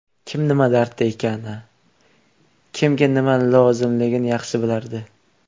Kim nima dardda ekani, kimga nima lozimligini yaxshi bilardi.